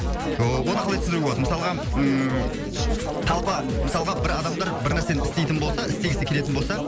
оны қалай түсіндіруге болады мысалға ммм толпа мысалға бір адамдар бір нәрсені істейтін болса істегісі келетін болса